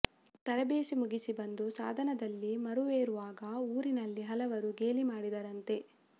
ತರಬೇತಿ ಮುಗಿಸಿ ಬಂದು ಸಾಧನದಲ್ಲಿ ಮರವೇರುವಾಗ ಊರಿನಲ್ಲಿ ಹಲವರು ಗೇಲಿ ಮಾಡಿದರಂತೆ